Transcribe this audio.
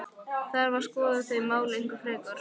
Þarf að skoða þau mál eitthvað frekar?